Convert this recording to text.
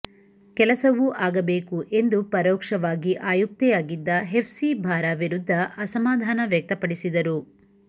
ಕೆಲಸವೂ ಆಗಬೇಕು ಎಂದು ಪರೋಕ್ಷವಾಗಿ ಆಯುಕ್ತೆಯಾಗಿದ್ದ ಹೆಫ್ಸಿಬಾರ ವಿರುದ್ಧ ಅಸಮಾಧಾನ ವ್ಯಕ್ತಪಡಿಸಿದರು